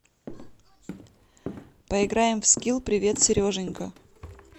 поиграем в скилл привет сереженька